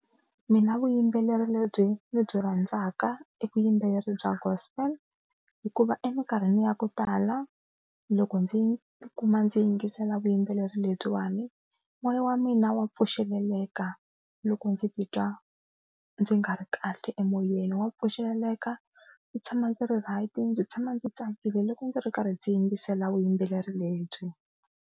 Mina vuyimbeleri lebyi ndzi byi rhandzaka e vuyimbeleri bya Gospel hikuva eminkarhini ya ku tala loko ndzi tikuma ndzi yingisela vuyimbeleri lebyiwani moya wa mina wa pfuxeleleka loko ndzi titwa ndzi nga ri kahle emoyeni, wa pfuxeleleka ndzi tshama ndzi ri right ndzi tshama ndzi tsakile loko ndzi ri karhi ndzi yingisela vuyimbeleri lebyi.